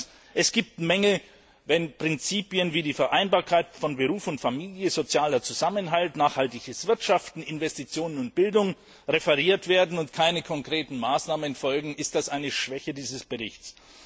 Zweitens Wenn Prinzipien wie die Vereinbarkeit von Beruf und Familie, sozialer Zusammenhalt, nachhaltiges Wirtschaften, Investitionen und Bildung angesprochen werden und keine konkreten Maßnahmen folgen, dann ist das eine Schwäche des Berichts.